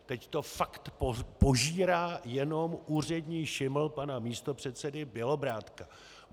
Teď to fakt požírá jenom úřední šiml pana místopředsedy Bělobrádka.